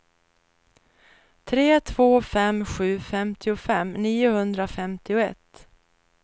tre två fem sju femtiofem niohundrafemtioett